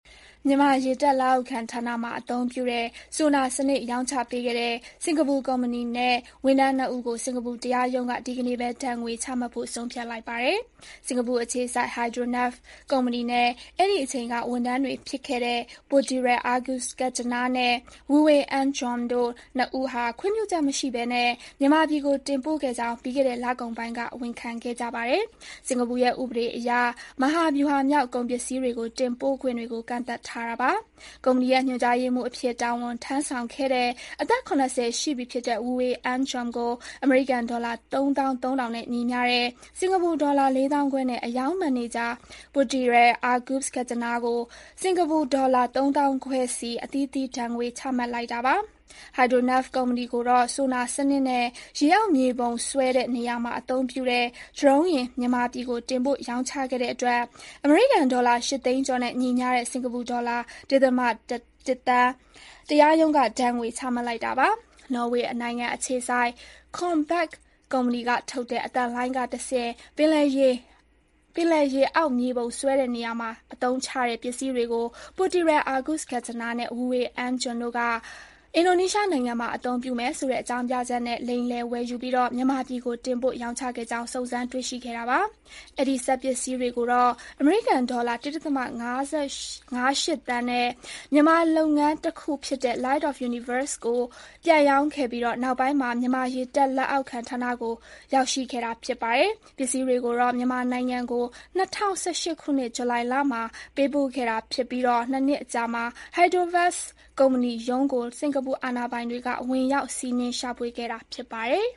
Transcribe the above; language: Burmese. မြန်မာရေတပ် လက်အောက်ခံဌာနမှာ အသုံးပြုတဲ့ ဆိုနာစနစ် ရောင်းချပေးခဲ့တဲ့ စင်္ကာပူကုမ္ပဏီနဲ့ ဝန်ထမ်း ၂ ဦးကို စင်္ကာပူတရားရုံးက ဒီကနေ့ပဲ ဒဏ်ငွေချမှတ်ဖို့ ဆုံးဖြတ်လိုက်ပါတယ်။ စင်္ကာပူအခြေစိုက် Hydronav ကုမ္ပဏီနဲ့ အဲဒီအချိန်က ဝန်ထမ်းတွေဖြစ်ခဲ့တဲ့ Poiter Agus Kentjana နဲ့ Wui Ong Chuan တို့ ၂ ဦးဟာ ခွင့်ပြုချက်မရှိဘဲ မြန်မာပြည်ကို တင်ပို့ခဲ့ကြောင်း ပြီးခဲ့တဲ့ လကုန်ပိုင်းက ဝန်ခံခဲ့ကြပါတယ်။ စင်္ကာပူရဲ့ ဥပဒေအရ မဟာဗျုဟာမြောက် ကုန်ပစ္စည်းတွေကို တင်ပို့ခွင့်တွေကို ကန့်သတ်ထားတာပါ။ ကုမ္ပဏီရဲ့ ညွန်ကြားရေးမှူးအဖြစ် တာဝန်ထမ်းဆောင်ခဲ့တဲ့ အသက် ၇၀ ရှိပြီဖြစ်တဲ့ Wui Ong Chuan ကို အမေရိကန်ဒေါ်လာ ၃၃၀၀၀ နဲ့ ညီမျှတဲ့ စင်္ကာပူဒေါ်လာ ၄၅၀၀၀ နဲ့ အရောင်းမန်နေဂျာ Poiter Agus Kentjana ကို စင်္ကာပူဒေါ်လာ ၃၅၀၀၀ စီ အသီးသီး ဒဏ်ငွေချမှတ်လိုက်တာပါ။ Hydronav ကုမ္ပဏီကိုတော့ ဆိုနာ စနစ်နဲ့ ရေအောက် မြေပုံဆွဲတဲ့နေရာမှာ အသုံးပြုတဲ့ ဒရုန်းယာဉ် မြန်မာပြည်ကို တင်ပို့ ရောင်းချခဲ့တဲ့အတွက် အမေရိကန်ဒေါ်လာ ၈ သိန်းကျော်နဲ့ ညီမျှတဲ့ စင်္ကာပူဒေါ်လာ ၁.၁ သန်း တရားရုံးက ဒဏ်ငွေ ချမှတ်လိုက်ပါတယ်။ နော်ဝေးနိုင်ငံအခြေစိုက် Kongsberg ကုမ္ပဏီကထုတ်တဲ့ အသံလှိုင်းကတဆင့် ပင်လယ်ရေအောက်မြေပုံ ဆွဲတဲ့နေရာမှာ အသုံးချတဲ့ ပစ္စည်းတွေကို Poiter Agus Kentjana နဲ့ Wui Ong Chuan တို့က အင်ဒိုနီးရှားနိုင်ငံမှာ အသုံးပြုမယ်ဆိုတဲ့ အကြောင်းပြချက်နဲ့ လိမ်လည် ဝယ်ယူပြီး မြန်မာပြည်ကို တင်ပို့ ရောင်းချခဲ့ကြောင်း စုံစမ်းတွေ့ရှိခဲ့တာပါ။ အဲဒီစက်ပစ္စည်းတွေကိုတော့ အမေရိကန်ဒေါ်လာ ၁.၅၈ သန်းနဲ့ မြန်မာလုပ်ငန်းတခုဖြစ်တဲ့ Light of Universe ကိုပြန်ရောင်းခဲ့ပြီး နောက်ပိုင်းမှာ မြန်မာရေတပ် လက်အောက်ခံဌာနကို ရောက်ရှိခဲ့တာ ဖြစ်ပါတယ်။ ပစ္စည်းတွေကိုတော့ မြန်မာနိုင်ငံကို ၂၀၁၈ ခုနှစ်၊ ဇူလိုင်လမှာ ပေးပို့ခဲ့တာဖြစ်ပြီး၊ ၂ နှစ်အကြာမှာ Hydronav ကုမ္ပဏီရုံးကို စင်္ကာပူအာဏာပိုင်တွေက ဝင်ရောက် စီးနင်းရှာဖွေခဲ့တာ ဖြစ်ပါတယ်